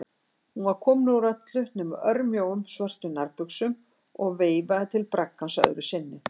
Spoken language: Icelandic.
Hún var komin úr öllu nema örmjóum, svörtum nærbuxum og veifaði til braggans öðru sinni.